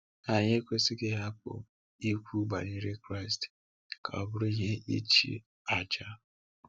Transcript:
Ma anyị ekwesịghị ịhapụ ikwu banyere Kraịst ka o bụrụ ihe ịchị ájà.